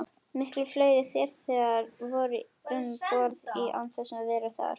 Miklu fleiri farþegar voru um borð en máttu vera þar.